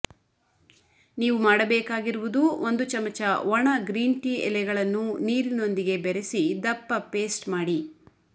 ನೀವು ಮಾಡಬೇಕಾಗಿರುವುದು ಒಂದು ಚಮಚ ಒಣ ಗ್ರೀನ್ ಟೀ ಎಲೆಗಳನ್ನು ನೀರಿನೊಂದಿಗೆ ಬೆರೆಸಿ ದಪ್ಪ ಪೇಸ್ಟ್ ಮಾಡಿ